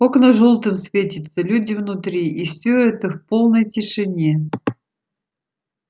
окна жёлтым светятся люди внутри и все это в полной тишине